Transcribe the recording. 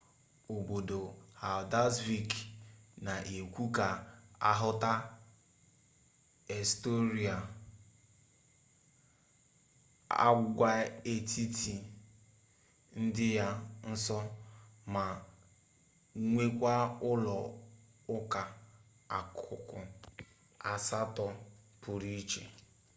obodo haldarsvik na-ekwe ka ahụta eysturọị agwaetiti dị ya nso ma nwekwaa ụlọ ụka akụkụ asatọ pụrụ iche